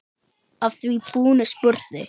Að því búnu spurði